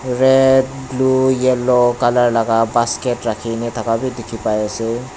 red blue yellow colour laka basket rakhina tha la bi dikhipaiase.